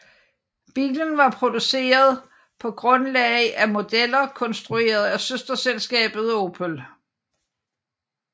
Bilen var produceret på grundlag af modeller konstrueret af søsterselskabet Opel